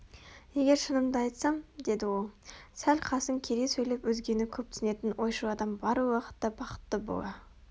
егер шынымды айтсам деді ол сәл қасын кере сөйлеп өзгені көп түсінетін ойшыл адам барлық уақытта бақытты бола